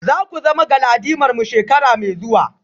Za ku zama galadimarmu shekara mai zuwa?